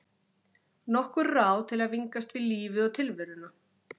Nokkur ráð til að vingast við lífið og tilveruna.